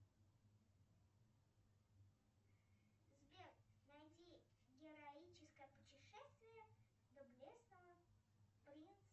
сбер найди героическое путешествие доблестного принца